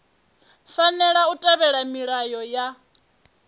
fanela u tevhedzela milayo ya